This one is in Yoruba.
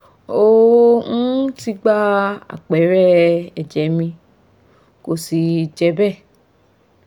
ó um ti gba àpẹẹrẹ ẹ̀jẹ̀ mi kò sì je be